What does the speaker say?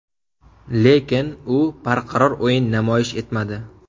Lekin u barqaror o‘yin namoyish etmadi.